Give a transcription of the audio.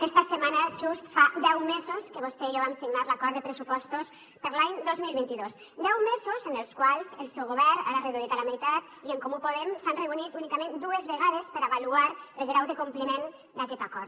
aquesta setmana just fa deu mesos que vostè i jo vam signar l’acord de pressupostos per a l’any dos mil vint dos deu mesos en els quals el seu govern ara reduït a la meitat i en comú podem s’han reunit únicament dues vegades per avaluar el grau de compliment d’aquest acord